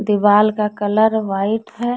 दीवाल का colour white है।